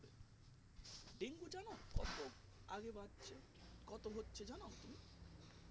dengue জানো কত আগে বাত হচ্ছে কত হচ্ছে জানো তুমি